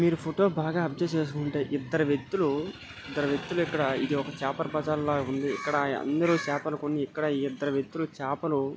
మేరు photo బాగా observation చేసీ ఉంటే ఇద్దరు వ్యక్తులు ఇద్దరు వ్యక్తులు ఇక్కడ ఇధి ఓక చేపల బజార్ లాగ ఉంది ఇక్కడ అందరూ చేపలు కొని ఇక్కడ ఇద్దరు వ్యక్తులు చేపలు --